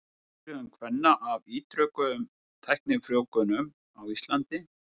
Upplifun kvenna af ítrekuðum tæknifrjóvgunum á Íslandi.